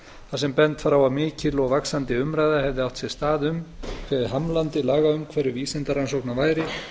þar sem bent var á að mikil og vaxandi umræða hefði átt sér stað um hve hamlandi lagaumhverfi vísindarannsókna væri